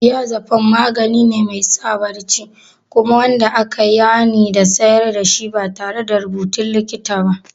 Diazepam magani ne mai sa barci kuma wanda aka yi hanin sayar da shi ba tare da rubutun likita ba.